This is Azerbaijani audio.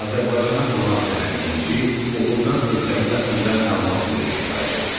Azərbaycana qonaq gələn İnci Uğurdan ölkəmiz haqqında məlumat verməyi xahiş etdi.